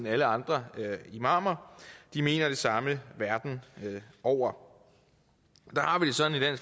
alle andre imamer de mener det samme verden over der har vi det sådan i